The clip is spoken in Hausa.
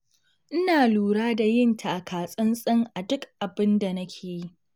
Ina lura da yin takatsantsana duk abin da nake yi.